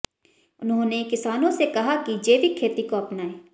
उन्होंने किसानों से कहा कि जैविक खेती को अपनाएं